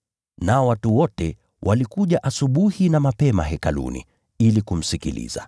Nao watu wote walikuja asubuhi na mapema Hekaluni ili kumsikiliza.